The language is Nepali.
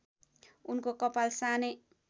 उनको कपाल सानै